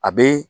A be